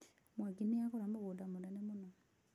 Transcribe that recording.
Mwangi nĩ agũra mũgũnda mũnene mũno.